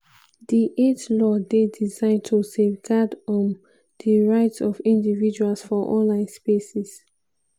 di eit law dey designed to safeguard um di rights of individuals for online spaces.